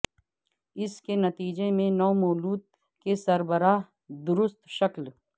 اس کے نتیجے میں نومولود کے سربراہ درست شکل